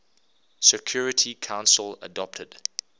security council adopted